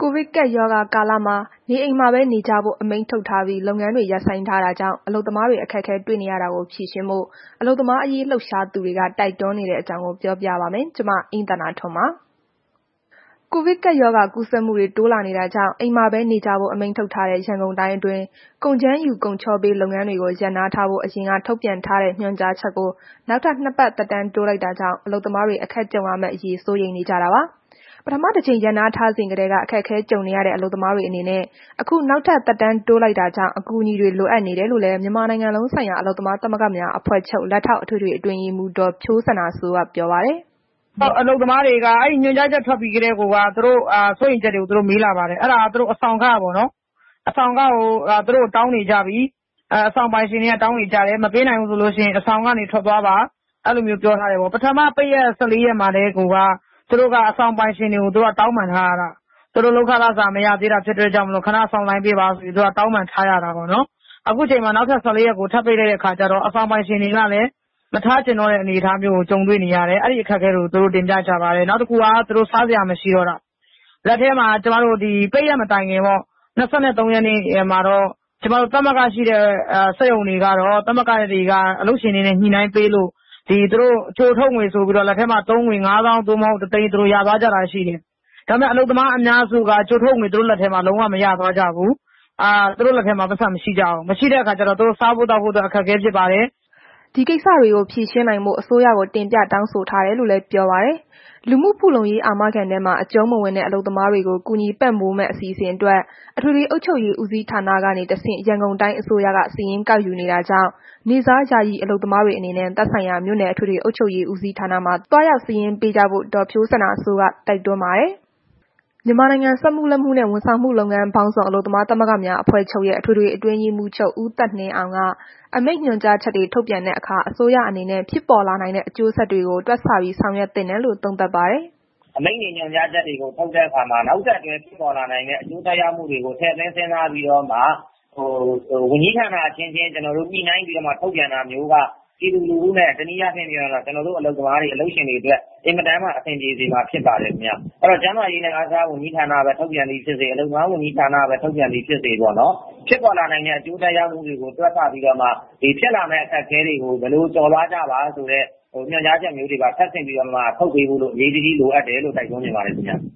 ကိုဗစ်ကပ်ရောဂါကာလမှာ အိမ်မှာနေ အမိန့်ထုတ်ထားပြီး လုပ်ငန်းတွေ ရပ်ဆိုင်းထားတာကြောင့် အလုပ်သမားတွေ အခက်တွေ့နေတာကို ဖြေရှင်းဖို့ အလုပ်သမားရေးလှုပ်ရှားသူတွေ တိုက်တွန်းနေတဲအကြောင်းကို ဗွီအိုအေမြန်မာပိုင်းသတင်းထောက် မအိမ့်သန္တာထွန်းက ပြောပြပေးပါမယ်။ ကိုဗစ်ကပ်ရောဂါ ကူးစက်မှုတွေ တိုးလာနေတာကြောင့် အိမ်မှာပဲ နေကြဖို့ အမိန့်ထုတ်ထားတဲ့ ရန်ကုန်တိုင်းအတွင်း ကုန်ကြမ်းယူ ကုန်ချောပေး လုပ်ငန်းတွေကို ရပ်နားထားဖို့ အရင်က ထုတ်ပြန်ထားတဲ့ ညွှန်ကြားချက်ကို နောက်ထပ် ၂ ပတ် သက်တမ်းတိုးလိုက်တာကြောင့် အလုပ်သမားတွေ အခက်ကြုံရမယ့်အရေး စိုးရိမ်နေကြတာပါ။ ပထမတစ်ကြိမ် ရပ်နားထားစဉ်ကတည်းက အခက်အခဲကြုံနေရတဲ့ အလုပ်သမားတွေအနေနဲ့ အခုနောက်ထပ် သက်တမ်းတိုးလိုက်တာကြောင့် အကူအညီတွေ လိုအပ်နေတယ်လို့လည်း မြန်မာနိုင်ငံလုံးဆိုင်ရာ အလုပ်သမားသမဂ္ဂများဖွဲ့ချုပ် လက်ထောက်အထွေထွေအတွင်းရေးမှုး ဒေါ်ဖြိုးစန္ဒာစိုးက ပြောပါတယ်။ “အလုပ်သမားတွေက အဲ့ဒီညွှန်ကြားချက်ထွက်ပြီးကတည်းကိုက သူတို့ရဲ့ စိုးရီမ်ချက်တွေကို မေးလာပါတယ်။ အဲ့ဒါက သူတို့ အဆောင်ခပေါ့နော်။ အဆောင်ခကို သူတို့ တောင်းနေကြပြီ၊ မပေးနိုင်ဘူးဆိုရင် အဆာင်ကနေ ထွက်သွားပါ။ အဲ့လိုမျိုးပြောထားတယ်ပေါ့။ ပထမ ပိတ်ရက် ၁၄ ရက်မှာကိုက သူတို့က အဆောင်ပိုင်ရှင်တွေက တောင်းပန်ထာားရတာ။ သူတို့က လုပ်ခလစာ မရသေးလို့ ခဏစောင့်ပေးပါဆိုပြီး တောင်းပန်ထားရတာပေါ့နော်။ အခု နောက်ထပ် ၁၄ ရက်ထပ်ပိတ်လိုက်တဲ့ အခါကျတော့ အဆောင်ပိုင်ရှင်တွေကလည်း မထားချင်တော့တဲ့ အခက်အခဲတွေကို သူတို့ကြုံနေကြရတယ်။ အဲ့ဒီအခက်အခဲတွေကို သူတို့တင်ပြကြပါတယ်။ နောက်တစ်ခုက သူတို့ စားစရာမရှိတော့တာ။ လက်ထဲမှာ ကျမတို့ ဒီပိတ်ရက်မတိုင်ခင်ပေါ့၊ ၂၃ ရက်နေ့မှာတော့ သမဂ္ဂရှိတဲ့ စက်ရုံတွေမှာတော့ သမဂ္ဂတွေက အလုပ်ရှင်တွေနဲ့ ညှိနှိုင်းပေးလို့ ကြိုထုတ်ငွေဆိုပြီးတော့ လက်ထဲမှာ ၅၀,၀၀၀ သို့မဟုတ် ၁၀၀,၀၀၀ ရသွားကြတာရှိတယ်။ ဒါပေမဲ့ အလုပ်သမားအများစုက သူတို့လက်ထဲမှာ ကြိုထုတ်ငွေမရသွားကြဘူး။ သူတို့လက်ထဲမှာ ပိုက်ဆံမရှိတော့ စားသောက်ဖို့ အခက်အခဲဖြစ်ပါတယ်။” ဒီကိစ္စတွေကို ဖြေရှင်းနိုင်ဖို့ အစိုးရကို တင်ပြတောင်းဆိုထားတယ်လို့လည်း ပြောပါတယ်။ လူမှုဖူလုံရေး အာမခံထဲမှာ အကျုံးမဝင်တဲ့ အလုပ်သမားတွေကို ကူညီပံ့ပိုးမယ့် အစီအစဉ်အတွက် အထွေထွေအုပ်ချုပ်ရေးဦးစီးဌာနကနေ တစ်ဆင့် ရန်ကုန်တိုင်းအစိုးရက စာရင်း ကောက်ယူနေတာကြောင့် နေ့စား၊ ယာယီအလုပ်သမားတွေအနေနဲ့ သက်ဆိုင်ရာ မြို့နယ်အထွေထွေအုပ်ချုပ်ရေး ဦးစီးဌာနမှာ သွားရောက်စာရင်းပေးကြဖို့ ဒေါ်ဖြိုးစန္ဒာစိုးက တိုက်တွန်းပါတယ်။ မြန်မာနိုင်ငံ စက်မှုလက်မှုနဲ့ ဝန်ဆောင်မှုလုပ်ငန်းပေါင်းစုံ အလုပ်သမားသမဂ္ဂများအဖွဲ့ချုပ်ရဲ့ အထွေထွေအတွင်းရေးမှုးချုပ် ဦးသက်နှင်းအောင်က အမိန့်ညွှန်ကြားချက်တွေထုတ်ပြန်တဲ့အခါ အစိုးရအနေနဲ့ ဖြစ်ပေါ်လာနိုင်တဲ့ အကျိုးဆက်တွေကို တွက်ဆပြီးဆောင်ရွက်သင့်တယ်လို့ သုံးသပ်ပါတယ်။ “အမိန့်တွေ၊ ညွှန်ကြားချက်တွေကို ထုတ်တဲ့အခါမှာ နောက်ဆက်တွဲဖြစ်ပေါ်လာနိုင်တဲ့ အကျိုးသက်ရောက်မှုကို ထည့်သွင်းစဉ်းစားပြီးတော့မှ ဝန်ကြီးဌာန အချင်းချင်းညှိနှိုင်းပြီးတော့မှာ ထုတ်ပြန်တာမျိုးက ပြည်သူလူထုနဲ့ တစ်နည်းအားဖြင့် ကျနော်တို့ အလုပ်သမားနှင့် အလုပ်ရှင်တွေအတွက် အင်မတန်မှ အဆင်ပြေစေမှာဖြစ်ပါတယ်။ အဲ့တော့ အားကစားဝန်ကြီးဌာနကပဲ ထုတ်ပြန်သည်ဖြစ်စေ၊ အလုပ်သမားဝန်ကြီးဌာနကပဲ ထုတ်ပြန်သည်ဖြစ်စေပေါ့နော်၊ ဖြစ်ပေါ်လာနိုင်တဲ့ အကျိုးသက်ရောက်မှုတွေကို တွက်ဆပြီးတော့မှ ဖြစ်လာမယ့် အခက်အခဲတွေကို ဘယ်လိုကျော်လွှားကြပါဆိုတဲ့ ညွှန်ကြားချက်မျိုးတွေပါ ထပ်ဆင့်ပြီးတော့မှ ထုတ်ပေးဖို့ အရေးတကြီးလိုအပ်တယ်လို့ တိုက်တွန်းချင်ပါတယ်ခင်ဗျ။”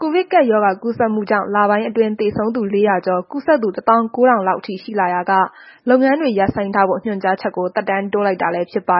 ကိုဗစ်ကပ်ရောဂါကူးစက်မှုကြောင့် လပိုင်းအတွင်း သေဆုံးသူ ၄၀၀ ကျော်၊ ကူးစက်သူ ၁၉,၀၀၀ လောက်အထိ ရှိလာရာက လုပ်ငန်းတွေ ရပ်ဆိုင်းထားဖို့ ညွှန်ကြားချက်ကို သက်တမ်းတိုးလိုက်တာလည်း ဖြစ်ပါ